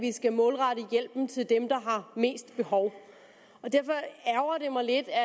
vi skal målrette hjælpen til dem der har mest behov og derfor ærgrer det mig lidt at